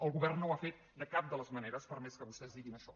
el govern no ho ha fet de cap de les maneres per més que vostès diguin això